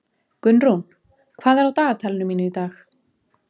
Gunnrún, hvað er á dagatalinu mínu í dag?